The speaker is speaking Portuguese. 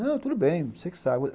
Não, tudo bem, você que sabe.